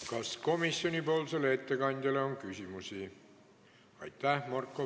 Kas komisjoni ettekandjale on küsimusi?